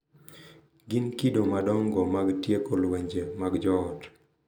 Gin kido madongo mag tieko lwenje mag joot.